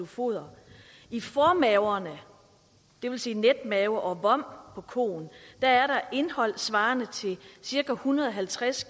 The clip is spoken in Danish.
foder i formaverne det vil sige netmave og vom på koen er der indehold svarende til cirka en hundrede og halvtreds